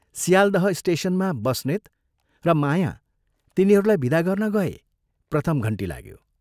सियालदह स्टेशनमा बस्नेत र माया तिनीहरूलाई विदा गर्न गए प्रथम घण्टी लाग्यो।